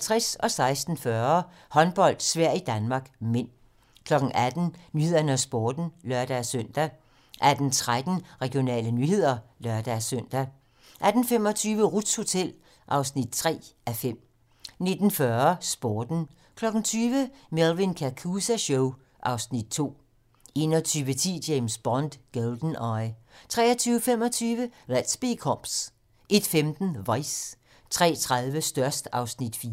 16:40: Håndbold: Sverige-Danmark (m) 18:00: 18 Nyhederne og Sporten (lør-søn) 18:13: Regionale nyheder (lør-søn) 18:25: Ruths hotel (3:5) 19:40: Sporten 20:00: Melvin Kakooza Show (Afs. 2) 21:10: James Bond: GoldenEye 23:25: Let's Be Cops 01:15: Vice 03:30: Størst (Afs. 4)